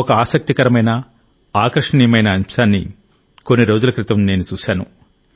ఒక ఆసక్తికరమైన ఆకర్షణీయమైన అంశాన్ని కొన్ని రోజుల క్రితం చూశాను